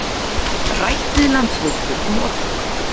Rætt við Landsvirkjun um orkukaup